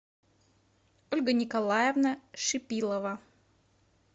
ольга николаевна шипилова